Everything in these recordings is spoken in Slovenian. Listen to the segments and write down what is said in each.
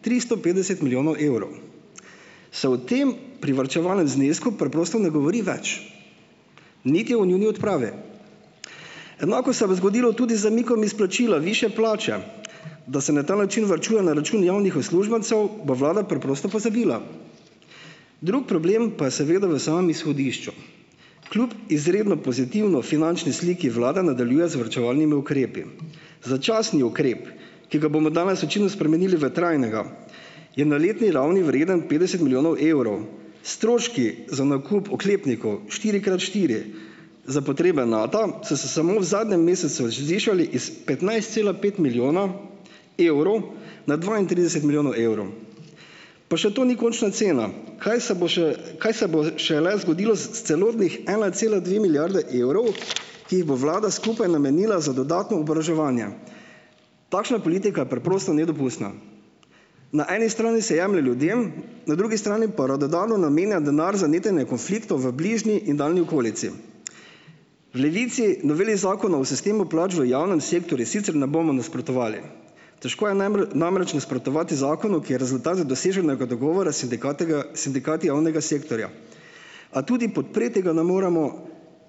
tristo petdeset milijonov evrov, se o tem privarčevanem znesku preprosto ne govori več, niti o njuni odpravi. Enako se bo zgodilo tudi z zamikom izplačila višje plače, da se na ta način varčuje na račun javnih uslužbencev, bo vlada preprosto pozabila. Drugi problem pa je seveda v samem izhodišču. Kljub izredno pozitivno finančni sliki vlada nadaljuje z varčevalnimi ukrepi. Začasni ukrep, ki ga bomo danes večino spremenili v trajnega, je na letni ravni vreden petdeset milijonov evrov. Stroški za nakup oklepnikov štiri krat štiri za potrebe Nata so se samo v zadnjem mesecu zvišali iz petnajst cela pet milijona evrov na dvaintrideset milijonov evrov. Pa še to ni končna cena. Kaj se bo še, kaj se bo, šele zgodilo sz s celotnih ena cela dve milijarde evrov, ki jih bo vlada skupaj namenila za dodatno oboroževanje. Takšna politika preprosto nedopustna. Na eni strani se jemlje ljudem, na drugi strani pa radodarno namenja denar za netenje konfliktov v bližnji in daljni okolici. V Levici noveli zakona o sistemu plač v javnem sektorju sicer ne bomo nasprotovali. Težko je namreč nasprotovati zakonu, ki je rezultat doseženega dogovora s sindikati v, s sindikati javnega sektorja. A tudi podpreti ga ne moremo,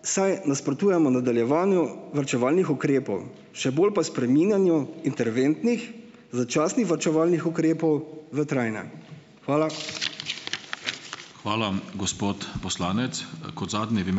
saj nasprotujemo nadaljevanju varčevalnih ukrepov, še bolj pa spreminjanju interventnih začasnih varčevalnih ukrepov v trajne. Hvala.